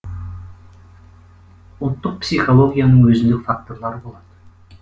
ұлттық психологияның өзіндік факторлары болады